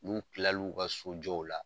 N'u kila l'u ka sojɔw la